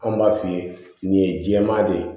Anw b'a f'i ye nin ye jɛman de ye